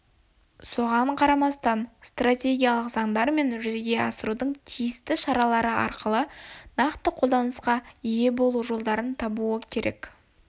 соған қарамастан стратегиялар мен заңдар жүзеге асырудың тиісті шаралары арқылы нақты қолданысқа ие болу жолдарын табуы керек